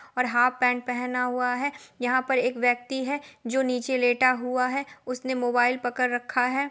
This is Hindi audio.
और हाफ पेन्ट पहना हुआ है| यहाँ पर एक व्यक्ति है जो नीचे लेटा हुआ है उसने मोबाइल पकड़ रखा है।